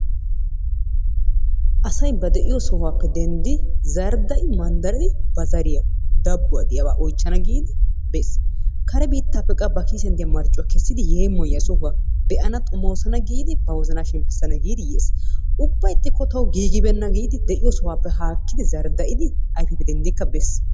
Asay ba de'iyo sohuwappe dendidi zardai mandaridi bidi ba zariyaa dabuwa oychanna giddi beesi, kare bittappe ba kissiyan deiya marccuwa kessidi yemoyiya sohuwa be'anna xomosanna giddi, ba wozanna shempisanna giddi yees, ubba ixikko tawu gigi benna giddi zardaidikka bees.